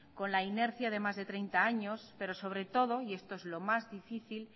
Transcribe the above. con la inercia de más de treinta años pero sobre todo y esto es lo más difícil